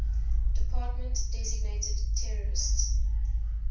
department designated terrorist